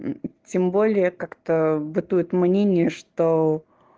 тем более как-то бытует мнение что